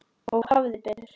Og hafði betur.